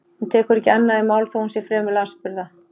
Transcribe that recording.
Hún tekur ekki annað í mál þó að hún sé fremur lasburða.